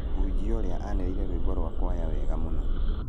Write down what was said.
Mũhunjia ũrĩa ainire rwĩmbo rwa kwaya wega mũno